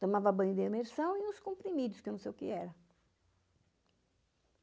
Tomava banho de imersão e uns comprimidos, que eu não sei o que era.